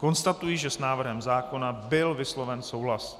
Konstatuji, že s návrhem zákona byl vysloven souhlas.